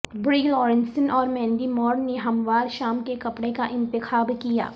بری لارنسن اور Mandy Moore نے ہموار شام کے کپڑے کا انتخاب کیا